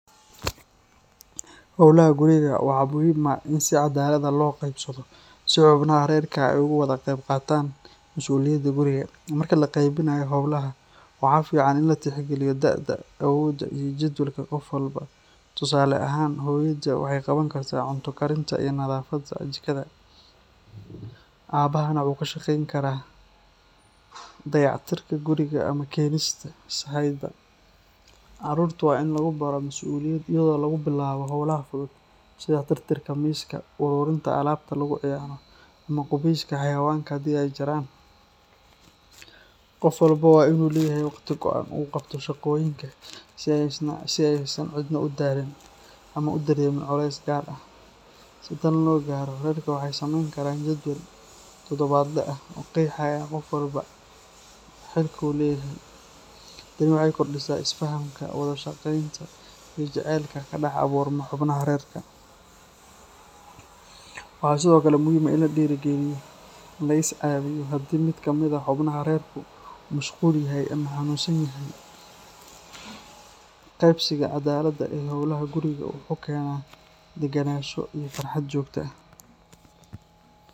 Howlaha guriga waxaa muhiim ah in si caddaalad ah loo qeybsado si xubnaha reerka ay uga wada qeyb qaataan masuuliyadda guriga. Marka la qeybinayo howlaha, waxaa fiican in la tixgeliyo da’da, awoodda, iyo jadwalka qof walba. Tusaale ahaan, hooyada waxay qaban kartaa cunto karinta iyo nadaafadda jikada, aabahana wuxuu ka shaqeyn karaa dayactirka guriga ama keenista sahayda. Caruurta waa in lagu baraa masuuliyad iyadoo lagu bilaabo howlaha fudud sida tirtirka miiska, ururinta alaabta lagu ciyaaro, ama qubeyska xayawaanka haddii ay jiraan. Qof walba waa in uu leeyahay waqti go'an oo uu qabto shaqooyinkiisa si aysan cidna u daalin ama u dareemin culays gaar ah. Si tan loo gaaro, reerku waxay sameyn karaan jadwal todobaadle ah oo qeexaya qof walba xilka uu leeyahay. Tani waxay kordhisaa is-fahamka, wada shaqeynta, iyo jacaylka ka dhex abuurma xubnaha reerka. Waxaa sidoo kale muhiim ah in la dhiirrigeliyo in la is-caawiyo haddii mid ka mid ah xubnaha reerka uu mashquul yahay ama xanuunsan yahay. Qeybsiga caddaaladda ah ee howlaha guriga wuxuu keenaa deganaansho iyo farxad joogto ah.